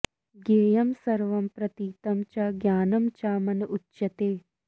ज्ञेयं सर्वं प्रतीतं च ज्ञानं च मन उच्यते